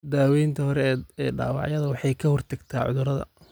Daawaynta hore ee dhaawacyada waxay ka hortagtaa cudurrada.